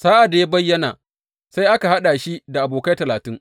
Sa’ad da ya bayyana, sai aka haɗa shi abokai talatin.